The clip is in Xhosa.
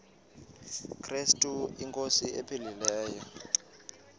krestu inkosi ephilileyo